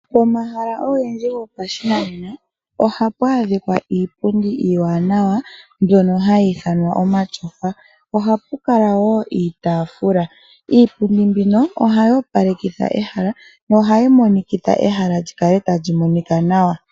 Omahala ogendji gopashinanena oha pu adhika iipundi iiwanawa mbono hayii thanwa omatyofa. Oha pukala woo iitafula, iipundi mbino ohayi opalekitha ehala no hayi monikitha ehala likale talimonika nawa.